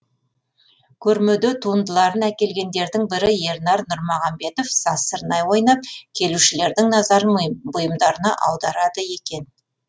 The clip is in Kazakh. көрмеде туындыларын әкелгендердің бірі ернар нұрмағанбетов сазсырнай ойнап келушілердің назарын бұйымдарына аударады екен